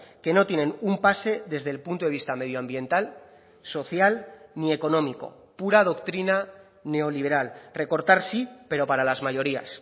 que no tienen un pase desde el punto de vista medioambiental social ni económico pura doctrina neoliberal recortar sí pero para las mayorías